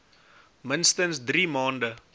minstens drie maande